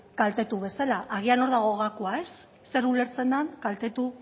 kaltetu bezala agian hor dago gakoa zer ulertzen den kaltetu